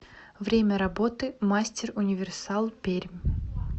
время работы мастер универсал пермь